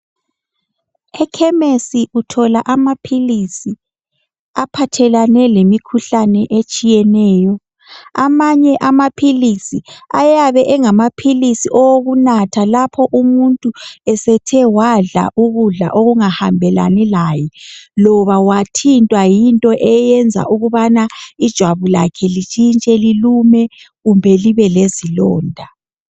Ekhemisi uthola amaphilizi aphathelane lemikhuhlane etshiyeneyo. Amanye amaphilizi ayabe engamaphilizi okunatha lapho umuntu esethe wadla ukudla okungahambelani laye loba wathintwa yinto eyenza ukubana ijwabu lakhe litshintshe lilume loba libe lezilonda.